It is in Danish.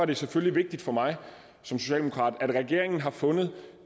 det selvfølgelig vigtigt for mig som socialdemokrat at regeringen har fundet